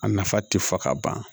A nafa tɛ fɔ ka ban